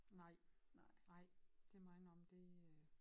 Nej nej det må jeg indrømme det øh